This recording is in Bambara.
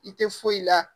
I tɛ foyi la